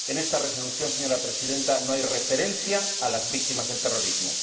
En esta propuesta de Resolución, señora Presidenta, no hay referencia a las víctimas del terrorismo.